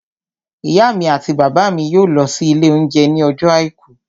Ìyá mi àti bàbá mi yóò lọ sí ilé oúnjẹ ní ọjọ́ àìkú